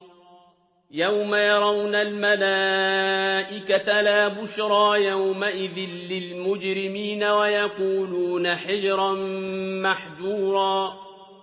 يَوْمَ يَرَوْنَ الْمَلَائِكَةَ لَا بُشْرَىٰ يَوْمَئِذٍ لِّلْمُجْرِمِينَ وَيَقُولُونَ حِجْرًا مَّحْجُورًا